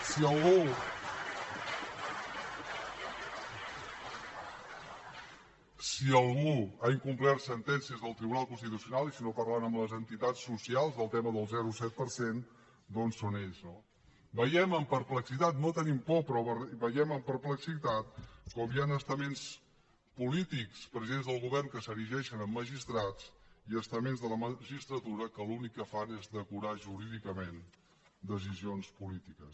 si algú ha incomplert sentències del tribunal constitucional i si no parlen amb les entitats socials del tema del zero coma set per cent doncs són ells no veiem amb perplexitat no tenim por però veiem amb perplexitat com hi han estaments polítics presidents del govern que s’erigeixen en magistrats i estaments de la magistratura que l’únic que fan es decorar jurídicament decisions polítiques